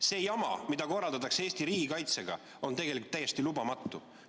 See jama, mida korraldatakse Eesti riigikaitsega, on tegelikult täiesti lubamatu.